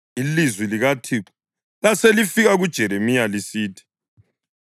Ilizwi likaThixo laselifika kuJeremiya lisithi,